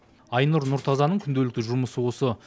айнұр нұртазаның күнделікті жұмысы осы